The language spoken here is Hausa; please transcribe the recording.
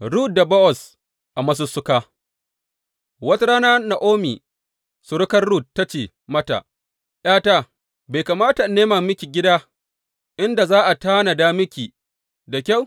Rut da Bowaz a masussuka Wata rana Na’omi surukar Rut ta ce mata, ’Yata, bai kamata in nema miki gida, inda za a tanada miki da kyau?